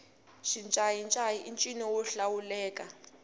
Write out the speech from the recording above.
xincayincayi i ncino wo hlawuleka